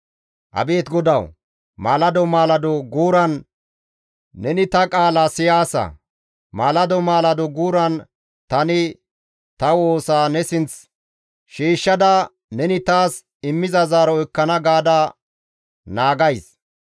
Abeet GODAWU! Maalado maalado guuran neni ta qaala siyaasa. Maalado maalado guuran tani ta woosa ne sinth shiishshada, neni taas immiza zaaro ekkana gaada naagays.